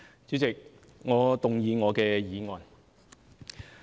主席，我動議我的議案。